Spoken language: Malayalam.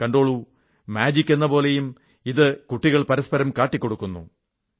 കണ്ടോളൂ മാജിക്ക് എന്നപോലെയും കുട്ടികൾ ഇത് പരസ്പരം കാട്ടിക്കൊടുക്കുന്നു